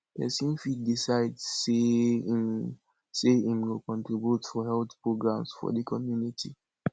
persin fit decide say im say im go contribute for health programmes for di community